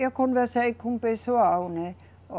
Eu conversei com o pessoal, né.